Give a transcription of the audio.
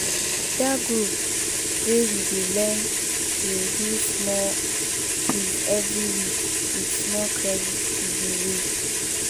that group wey we dey learn dey do small quiz every week with small credit giveaway